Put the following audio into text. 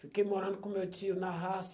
Fiquei morando com meu tio na raça.